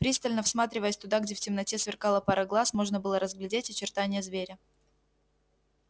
пристально всматриваясь туда где в темноте сверкала пара глаз можно было разглядеть очертание зверя